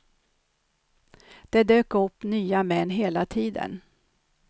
Det dök upp nya män hela tiden.